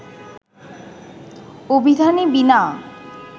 অভিধানে বীণা